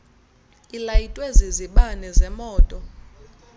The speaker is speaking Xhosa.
ilayitwe zizibane zemoto